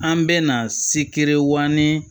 An bɛ na sikɛrean ni